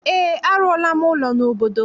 Ee, arụọla m ụlọ n'obodo m.